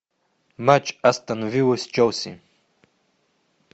матч астон вилла с челси